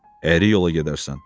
əyri yola gedərsən.